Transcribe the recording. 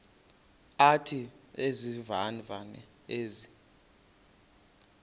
athi izivivane ezi